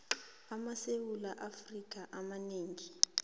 amasewula afrika amanengi